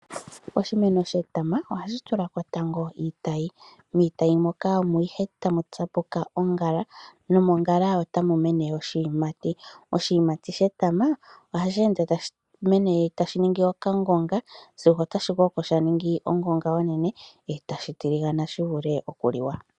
Oshimeno shetama ohashi tula ko tango iitayi. Miitayi moka omo ihe tamu tsapuka ongala nongala otayi ningi oshiyimati. Oshiyimati shetama ohashi ningi okangonga sigo otashi koko tashi ningi ongonga onene e tashi tiligana shi vule okuliwa.